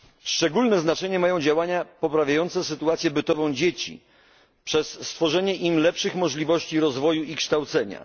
Szczególne znaczenie mają działania poprawiające sytuację bytową dzieci przez stworzenie im lepszych możliwości rozwoju i kształcenia.